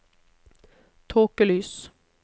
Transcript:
tåkelys